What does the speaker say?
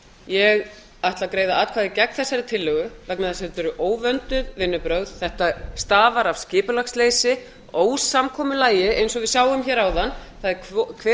ég ætla að greiða atkvæði gegn þessari tillögu vegna þess að þetta eru óvönduð vinnubrögð þetta stafar af skipulagsleysi ósamkomulagi eins og við sáum hér áðan það er hver